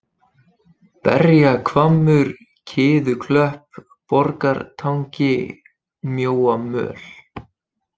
Berjahvammur, Kiðuklöpp, Borgartangi, Mjóamöl